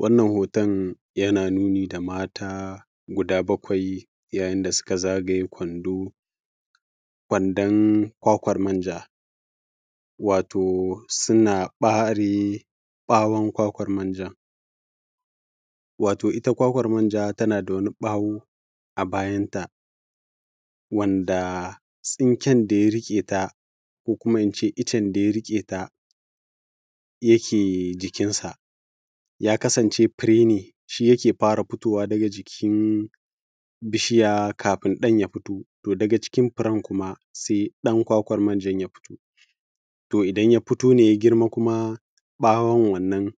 Wannan hoton yana nuni da mata guda bakwai yayin da suka zagaye kwando, kwandon kwakwan manja, wato suna ɓare ɓawon kwakwan manjan. Wato ita kwakwan manja tana da wani ɓawo a bayanta wanda tsinken da ya riƙe ta ko in ce iccen da ya riƙe ta yake jikinsa, ya kasance fure ne shi take fara fitowa daga jikin bishiya, kafin ɗan ya fito. To daga cikin firan kuma sai ɗan kwakwan manja ya fito. To idan ya fito ne ya girma kuma ɓawon wannan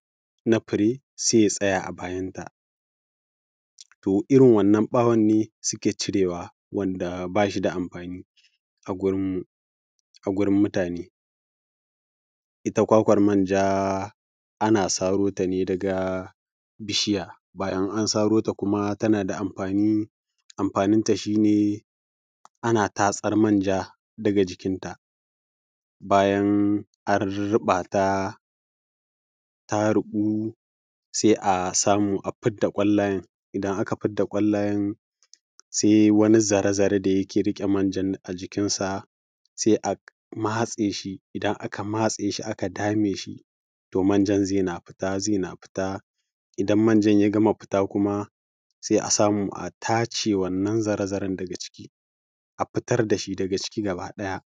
na fure sai ya tsaya a bayanta. To irin wannan ɓawon ne suke cire wa wanda ba shi da amfani a gurin mu, a wurin mutane. Ita kwakwan manja ana saro ta daga bishiya, bayan an saro ta tana da amfani. Amfanin ta shi ne ana tatsar manja daga jikinta, bayan a ruɓata ta ruɓu sai a samu a fidda ƙwallayan, idan aka fidda ƙwallayan sai wani zare zare da take riƙe manjan a jikinsa, sai a matse shi. Idan aka matse shi aka dame shi, to manjan zai na fita, zai na fita, idan manjan ya gama fita kuma sai a samu a tace wannan zare zaren daga cikin a fitar da shi daga ciki gaba ɗaya.